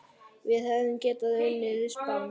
Við hefðum getað unnið Spán.